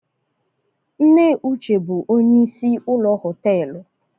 Nne uche bu onye isi ụlọ họtelụ